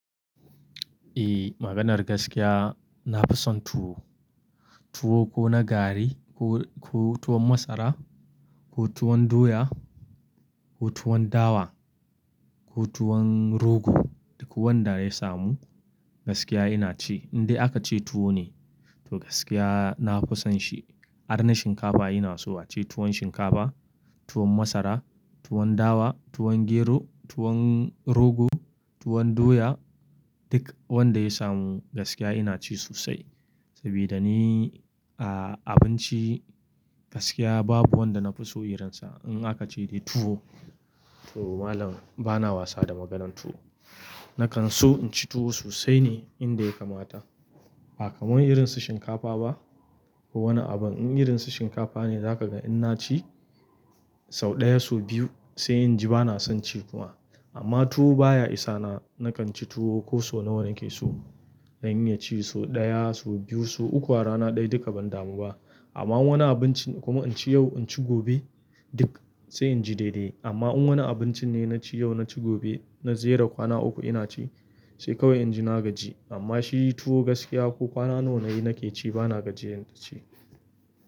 Eh, maganar gaskiya na fi son tuwo. Tuwo ko na gari, ko, ko tuwon masara, ko tuwon doya, ko tuwon dawa, ko tuwon rogo duk wanda ya samu gaskiya ina ci. Indai aka ce tuwo ne, to gaskiya na fi son shi. Harna shinkafa ina so ace tuwon shinkafa, tuwon masara, tuwon dawa, tuwon gero, tuwon rogo, tuwon doya duk wanda ya samu gaskiya ina ci sosai. Saboda ni, ah, abinci gaskiya babu wanda na fi so irinsa. In aka ce dai tuwo, to malam bana wasa da maganan tuwo. Nakan so in ci tuwo sosai ne inda ya kamata. Ba kamar irin su shinkafa ba. Wani abin in irin su shinkafa ne zaka ga inna ci sau ɗaya, sau biyu sai in ji bana son ci kuma. Amma tuwo baya isa na nakan ci tuwo ko so nawa nake so. Dan in ya ci so ɗaya, so biyu, so uku a rana ɗaya duka ban damu ba. Amma wani abinci kuma in ci yau, in ci gobe duk sai in ji daidai. Amma in wani abinci ne na ci yau, na ci gobe, na jera kwana uku ina ci sai kawai in ji na gaji. Amma shi tuwo gaskiya ko kwana nawa nayi nake ci bana gajiyan da ci.